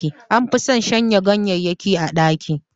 An fi son shanya ganyayyakin a ɗaki